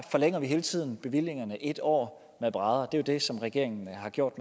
forlænger vi hele tiden bevillingerne en år med brædder det er jo det som regeringen har gjort